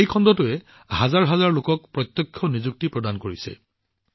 এই খণ্ডটোৱে হাজাৰ হাজাৰ লোকক প্ৰত্যক্ষ নিযুক্তিও দিছে